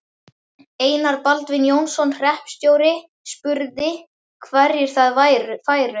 Einar Baldvin Jónsson hreppstjóri, spurði, hverjir þar færu.